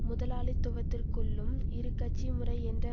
முதலாளித்துவத்திற்குள்ளும் இரு கட்சி முறை என்ற